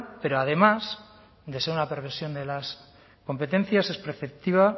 pero además de ser una perversión de las competencias es preceptiva